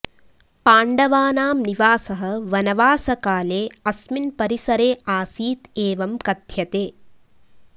पाण्डवानां निवासः वनवासकाले अस्मिन् परिसरे आसीत् एवं कथ्यते